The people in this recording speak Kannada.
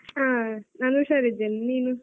ಆ ನಾನು ಹುಷಾರಿದ್ದೇನೆ ನೀನು?